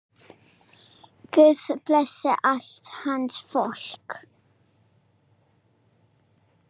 Guð blessi allt hans fólk.